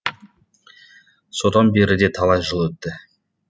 содан бері де талай жыл өтті